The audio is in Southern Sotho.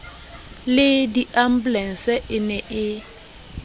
le diambulense e ne e